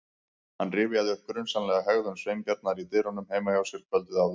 Hann rifjaði upp grunsamlega hegðun Sveinbjarnar í dyrunum heima hjá sér kvöldið áður.